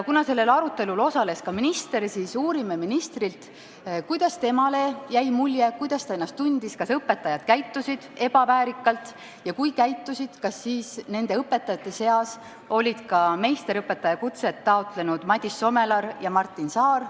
Kuna sellel arutelul osales ka minister, siis uurime ministrilt, kuidas temale mulje jäi, kuidas ta ennast tundis, kas õpetajad käitusid ebaväärikalt ja kui käitusid, siis kas nende õpetajate seas olid ka meisterõpetaja kutset taotlenud Madis Somelar ja Martin Saar.